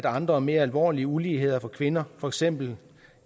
andre og mere alvorlige uligheder for kvinder for eksempel